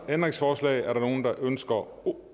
ændringsforslag er der nogen der ønsker